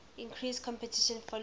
increased competition following